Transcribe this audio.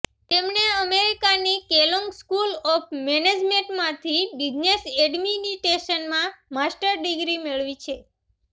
તેમણે અમેરિકાની Kellogg school of મેનેજમેન્ટમાંથી બિઝનેસ એડમિનિસ્ટ્રેશનમાં માસ્ટર ડિગ્રી મેળવી છે